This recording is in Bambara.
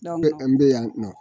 an bɛ yan nɔ